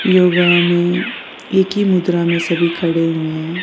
योगा में एक ही मुद्रा में सभी खड़े हुए हैं।